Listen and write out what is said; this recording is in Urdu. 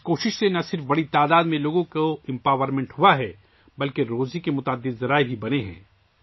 اس کوشش نے نہ صرف لوگوں کی ایک بڑی تعداد کو بااختیار بنایا ہے بلکہ روزی روٹی کے بہت سے ذرائع بھی پیدا کیے ہیں